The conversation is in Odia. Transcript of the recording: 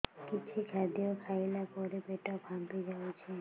କିଛି ଖାଦ୍ୟ ଖାଇଲା ପରେ ପେଟ ଫାମ୍ପି ଯାଉଛି